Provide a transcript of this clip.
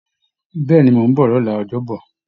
Bẹ́ẹ̀ ni, mò ń bọ̀ lọ́la ọjọ́bọ̀